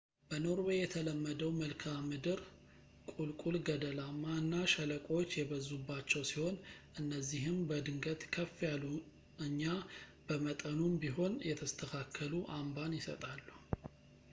በኖርዌይ የተለመደው መልክዓምድር ቁልቁል ገደላማ እና ሸለቆዎች የበዙባቸው ሲሆኑ እነዚህም በድንገት ከፍ ያሉ እኛ በመጠኑም ቢሆን የተስተካከሉ አምባን ይሰጣሉ